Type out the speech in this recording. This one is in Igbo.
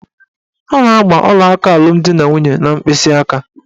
A na-agba ọlaaka alụmdinanwunye n'mkpịsịaka.